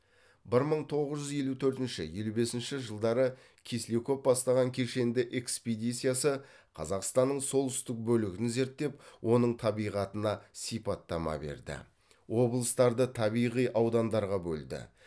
бір мың тоғыз жүз елу төртінші елу бесінші жылдары кисляков бастаған кешенді экспедициясы қазақстанның солтүстік бөлігін зерттеп оның табиғатына сипаттама берді облыстарды табиғи аудандарға бөлді